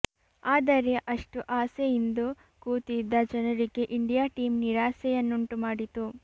ಆದರೆ ಅಷ್ಟು ಆಸೆ ಇಂದು ಕೂತಿದ್ದ ಜನರಿಗೆ ಇಂಡಿಯಾ ಟೀಮ್ ನಿರಾಸೆಯನ್ನುಂಟುಮಾಡಿತು